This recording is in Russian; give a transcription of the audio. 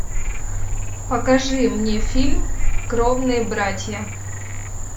покажи мне фильм кровные братья